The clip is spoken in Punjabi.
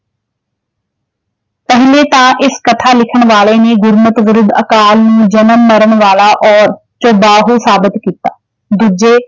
ਅਨਯਤਾ ਇਸ ਕਥਾ ਲਿਖਣ ਵਾਲੇ ਨੇ ਗੁਰਮਤਿ ਵਿਰੁੱਧ ਅਕਾਲ ਨੂੰ ਜਨਮ ਮਰਨ ਵਾਲਾ ਔਰ ਸਾਬਿਤ ਕੀਤਾ। ਦੂਜੇ